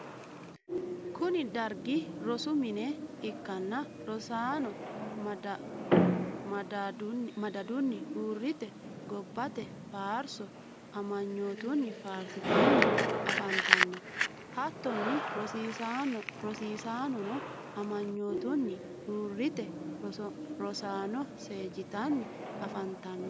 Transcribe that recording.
kuni dargi rosu mine ikkanna rosaano madadunni uurite gobbate faarso amanyoitunni faaristanni afantanno. hattonni rosiisaanono amanyootunni uurite rosaano seejjitanni afantanno